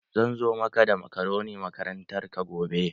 Zan zo maka da makaroni makarantarka gobe.